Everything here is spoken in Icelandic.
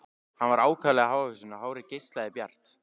Hann var ákaflega hávaxinn og hárið geislandi bjart.